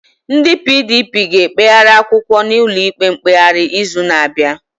Ndị PDP ga-ekpegharị akwụkwọ n'ụlọikpe mkpegharị izu na-abịa